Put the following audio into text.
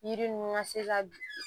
Yiri ninnu ka se ka bin